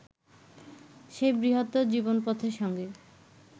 সেই বৃহত্তর জীবনপথের সঙ্গে